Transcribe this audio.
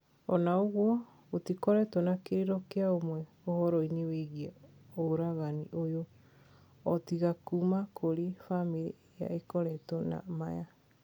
Ona ugwo, gutikoretwo na kiriro kia umwe uhoro wigie uragani uyu, o tiga kuuma kuri famiri iria ikoretwo na maya.